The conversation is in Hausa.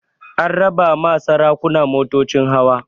An raba ma sarakuna motocin hawa